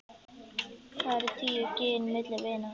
Hvað eru tíu gin milli vina.